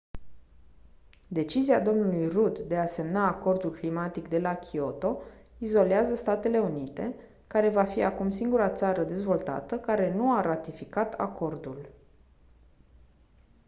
decizia dlui rudd de a semna acordul climatic de la kyoto izolează statele unite care va fi acum singura țară dezvoltată care nu a ratificat acordul